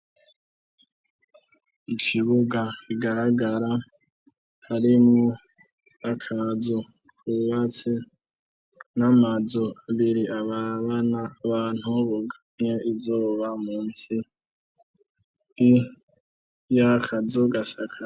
Ikibuga kigaragara harimwo akazu kubatse n'amazu biri arabana bantu bugamye izuba munsi y'akazu gasakaye.